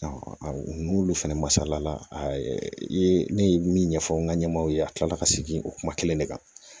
n'olu fɛnɛ masala i ye ne ye min ɲɛfɔ n ka ɲɛmɔw ye a kila la ka segin o kuma kelen de kan